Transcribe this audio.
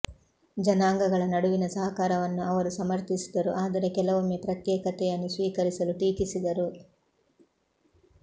ಜನಾಂಗಗಳ ನಡುವಿನ ಸಹಕಾರವನ್ನು ಅವರು ಸಮರ್ಥಿಸಿದರು ಆದರೆ ಕೆಲವೊಮ್ಮೆ ಪ್ರತ್ಯೇಕತೆಯನ್ನು ಸ್ವೀಕರಿಸಲು ಟೀಕಿಸಿದರು